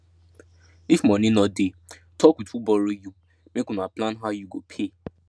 if money no dey talk with who borrow you make una plan how you go pay